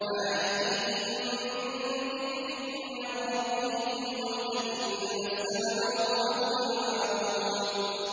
مَا يَأْتِيهِم مِّن ذِكْرٍ مِّن رَّبِّهِم مُّحْدَثٍ إِلَّا اسْتَمَعُوهُ وَهُمْ يَلْعَبُونَ